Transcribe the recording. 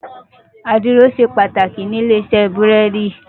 Àdìrò ṣé pàtákí ni ilé-isè búrèdí